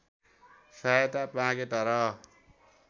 सहायता मागे तर